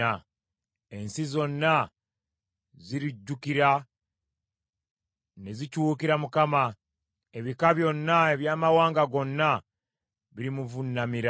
Ensi zonna zirijjukira ne zikyukira Mukama , ebika byonna eby’amawanga gonna birimuvuunamira.